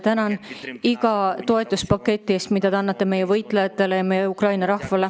Tänan iga toetuspaketi eest, mida teilt on saanud meie võitlejad, meie Ukraina rahvas.